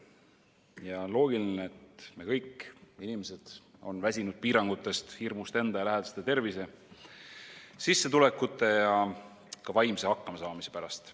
Ja loogiline, et kõik inimesed on väsinud piirangutest, hirmust enda ja lähedaste tervise, sissetulekute ja ka vaimse hakkama saamise pärast.